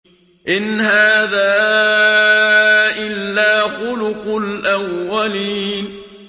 إِنْ هَٰذَا إِلَّا خُلُقُ الْأَوَّلِينَ